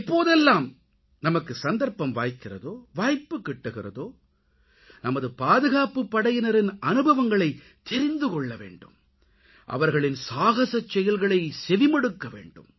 எப்போதெல்லாம் நமக்கு சந்தர்ப்பம் வாய்க்கிறதோ வாய்ப்புக்கிட்டுகிறதோ நமது பாதுகாப்புப்படையினரின் அனுபவங்களைத் தெரிந்து கொள்ள வேண்டும் அவர்களின் சாகசச் செயல்களைச் செவிமடுக்கவேண்டும்